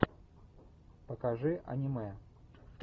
покажи аниме